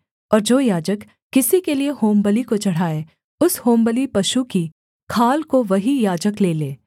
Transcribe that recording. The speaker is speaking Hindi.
और जो याजक किसी के लिये होमबलि को चढ़ाए उस होमबलि पशु की खाल को वही याजक ले ले